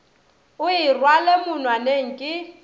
o e rwale monwaneng ke